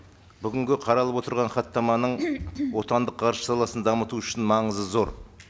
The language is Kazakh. бүгінгі қаралып отырған хаттаманың отандық ғарыш саласын дамыту үшін маңызы зор